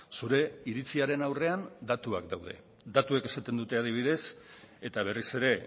zure iritziaren aurrean datuak daude datuek esaten dute adibidez eta berriz ere